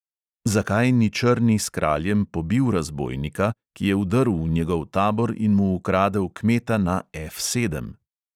Zakaj ni črni s kraljem pobil razbojnika, ki je vdrl v njegov tabor in mu ukradel kmeta na F sedem?